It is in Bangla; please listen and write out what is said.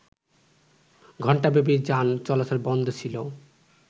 ঘণ্টাব্যাপী যান চলাচল বন্ধ ছিল